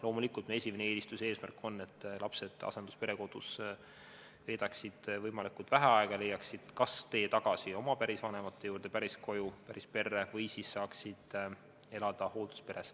Loomulikult, meie esimene eelistus ja eesmärk on, et lapsed veedaksid asendus- ja perekodus võimalikult vähe aega ning leiaksid kas tee tagasi oma pärisvanemate juurde, päriskoju, pärisperre või siis saaksid elada hooldusperes.